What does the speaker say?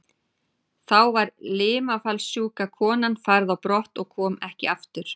Þá var limafallssjúka konan færð á brott og kom ekki aftur.